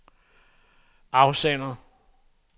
afsender